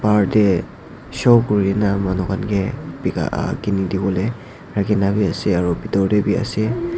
bahar teh show korikena manu khan ke kinidiwole rahikena ase aru bitor teh wii ase.